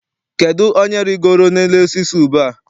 Kedụ onye rigoro n'elu osisi ube a?